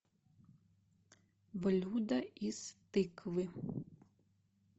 блюда из тыквы